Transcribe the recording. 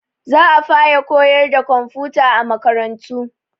Za a faraa koyarwa da komfuta a makarantu.